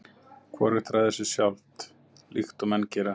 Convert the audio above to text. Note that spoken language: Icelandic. Hvorugt ræður sér sjálft, líkt og menn gera.